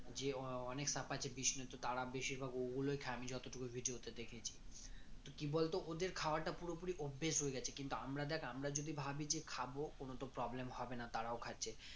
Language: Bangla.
যে অনেক সাপ আছে তারা বেশিরভাগ ওগুলোই খায় আমি যতটুকু video তে দেখেছি তো কি বলতো ওদের খাওয়াটা পুরোপুরি অভ্যেস হয়ে গেছে কিন্তু আমরা দেখ আমরা যদি ভাবি যে খাব কোনো তো problem হবে না তারাও খাচ্ছে